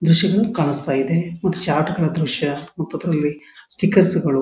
ದ್ರಶ್ಯಗಳು ಕಾಣಿಸ್ತಾಯಿದೆ ಒಂದು ಚಾರ್ಟ್ಗಳ ದ್ರಶ್ಯ ಮತ್ತು ಅದರಲ್ಲಿ ಸ್ಟಿಕರ್ಸ್ಗಳು .